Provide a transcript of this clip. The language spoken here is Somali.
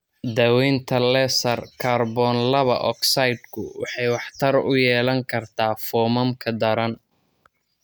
Daawaynta laser kaarboon laba ogsaydhku waxay waxtar u yeelan kartaa foomamka daran.